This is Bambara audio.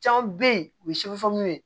Caman bɛ yen u bɛ